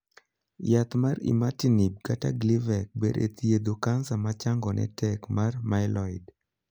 Yath mar 'imatinib (Gleevec)' ber e thiedho kansa ma changone tek mar 'myeloid'.